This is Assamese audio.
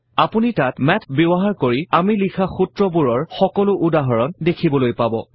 আপুনি তাত মাথ ব্যৱহাৰ কৰি আমি লিখা সূত্ৰবোৰৰ সকলো উদাহৰণ দেখিবলৈ পাব